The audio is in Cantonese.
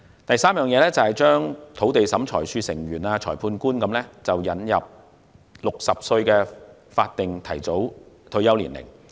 第三，為土地審裁處成員及裁判官等引入60歲法定提早退休年齡。